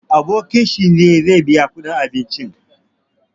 Abokin shi ne zai biya kuɗin abincin.